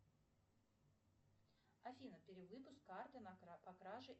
афина перевыпуск карты по краже